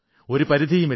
ഒരു പരിധിയുമില്ല